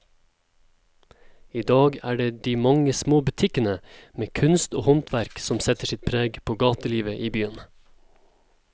I dag er det de mange små butikkene med kunst og håndverk som setter sitt preg på gatelivet i byen.